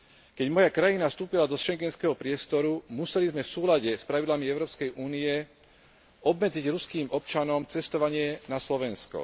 Keď moja krajina vstúpila do schengenského priestoru, museli sme v súlade s pravidlami Európskej únie obmedziť ruským občanom cestovanie na Slovensko.